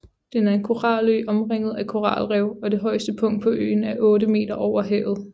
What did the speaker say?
Den er en koralø omringet af koralrev og det højeste punkt på øen er otte meter over havet